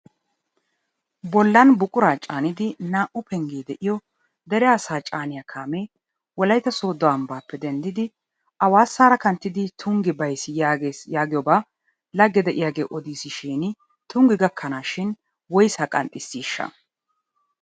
Bollan buquraa caanidi naa"u penggee de'iyo dere asaa caaniya kaamee wolayitta sooddo ambbaappe denddidi awasara kanttidi tungge bayis yaagees yaagiyoba lagge de'iyagee odiisishin tungge gakkanaashin woyisaa qanxxissiishsha?